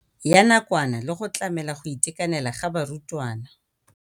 Ya nakwana le go tlamela go itekanela ga barutwana.